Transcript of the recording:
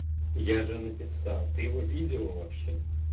я же написал ты его видела вообще